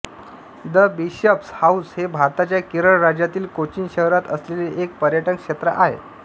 the Bishop's House हे भारताच्या केरळ राज्यातील कोचीन शहरात असलेले एक पर्यटन क्षेत्र आहे